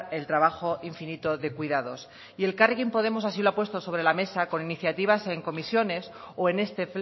el trabajo infinito de cuidados y elkarrekin podemos así lo ha puesto sobre la mesa con iniciativas en comisiones o en este